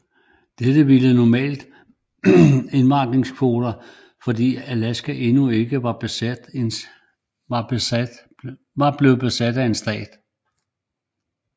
Dette ville omgå normale indvandingskvoter fordi Alaska endnu ikke var blevet en stat